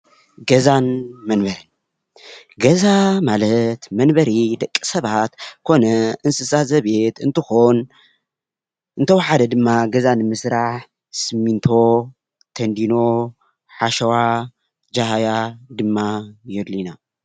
ገዛን መንበሪን ገዛ ማለት መንበሪ ደቂ ሰባትን ኮነ እንስሳትን ዘቤት እንትኮን እንተወሓደ ድማ ገዛ ንምስራሕ ሲሚንቶ፣ ቴንዲኖ፣ ሓሸዋ፣ ጃህያ ድማ የድልዩና ።